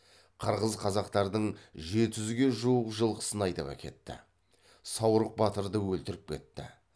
қырғыздар қазақтардың жеті жүзге жуық жылқысын айдап әкетті саурық батырды өлтіріп кетті